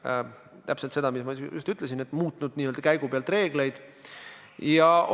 Näiteks 2018. aastal sai rohkem kui 134 000 inimest tänu täiendavale ravimihüvitisele oma retseptiravimid kätte oluliselt soodsamalt.